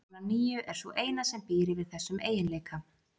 Talan níu er sú eina sem býr yfir þessum eiginleika.